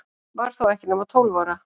Var þó ekki nema tólf ára.